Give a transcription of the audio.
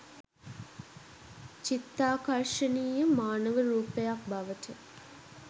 චිත්තාකර්ශනීය මානව රූපයක් බවට